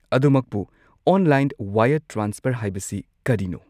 ꯑꯗꯨꯃꯛꯄꯨ, online wire transfer ꯍꯥꯏꯕꯁꯤ ꯀꯔꯤꯅꯣ?